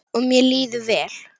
Og mér líður vel.